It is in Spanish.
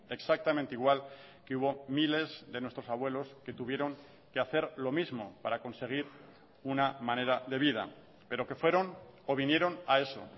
exactamente igual que hubo miles de nuestros abuelos que tuvieron que hacer lo mismo para conseguir una manera de vida pero que fueron o vinieron a eso